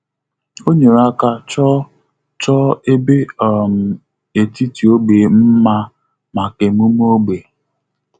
Ọ́ nyèrè áká chọ́ọ́ chọ́ọ́ ébé um etiti ógbè mma màkà emume ógbè.